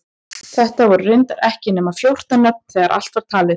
Þetta voru reyndar ekki nema fjórtán nöfn þegar allt var talið.